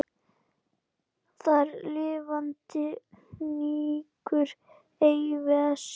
Þar lifandi hnígur ei vessi.